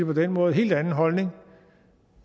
på den måde helt anden holdning